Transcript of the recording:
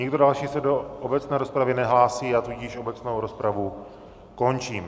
Nikdo další se do obecné rozpravy nehlásí, já tudíž obecnou rozpravu končím.